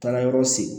Taara yɔrɔ segin